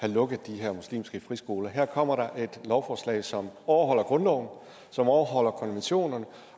have lukket de her muslimske friskoler her kommer der et lovforslag som overholder grundloven som overholder konventionerne